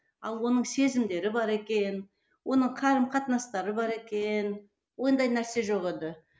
ал оның сезімдері бар екен оның қарым қатынастары бар екен ондай нәрсе жоқ еді